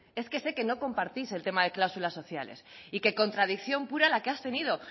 es que sé que no compartís el temas de cláusulas sociales y que contradicción pura la que has tenido